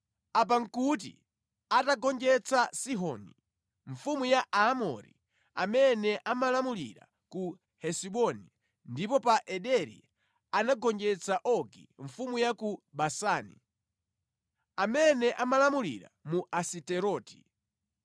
Apa nʼkuti atagonjetsa Sihoni mfumu ya Aamori, amene amalamulira ku Hesiboni, ndipo pa Ederi anagonjetsa Ogi mfumu ya ku Basani, amene amalamulira mu Asiteroti.